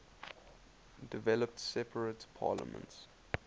developed separate parliaments